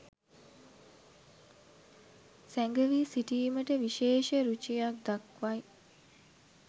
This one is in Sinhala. සැඟැවී සිටීමට විශේෂ රුචියක් දක්වයි.